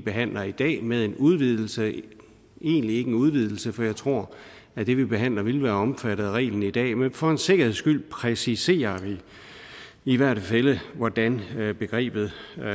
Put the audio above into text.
behandler i dag med en udvidelse det er egentlig ikke en udvidelse for jeg tror at det vi behandler ville være omfattet af reglen i dag men for en sikkerheds skyld præciserer vi i hvert tilfælde hvordan begrebet